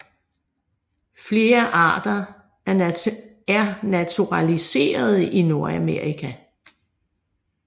Flere arter er naturaliserede i Nordamerika